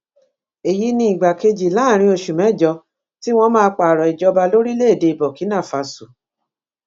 èyí ni ìgbà kejì láàrin oṣù mẹjọ tí wọn máa pààrọ ìjọba lórílẹèdè burkinafásio